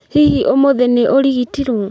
Hihi ũmũthĩ nĩũrigitirwo?